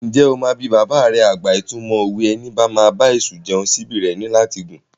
Ǹjẹ́ o máa bi bàbà rẹ àgbà ìtumọ̀ òwe "Ẹni bá máa bá èṣù jẹun, síbí rẹ̀ ní láti gùn"?